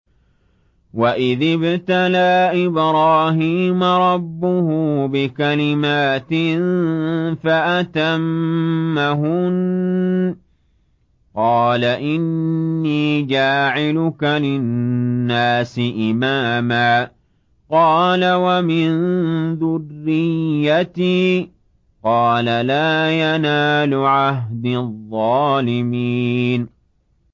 ۞ وَإِذِ ابْتَلَىٰ إِبْرَاهِيمَ رَبُّهُ بِكَلِمَاتٍ فَأَتَمَّهُنَّ ۖ قَالَ إِنِّي جَاعِلُكَ لِلنَّاسِ إِمَامًا ۖ قَالَ وَمِن ذُرِّيَّتِي ۖ قَالَ لَا يَنَالُ عَهْدِي الظَّالِمِينَ